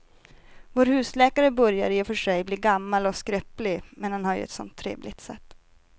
Vår husläkare börjar i och för sig bli gammal och skröplig, men han har ju ett sådant trevligt sätt!